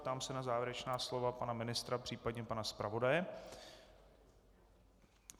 Ptám se na závěrečná slova pana ministra, případně pana zpravodaje.